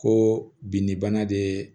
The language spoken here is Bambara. Ko binni bana de ye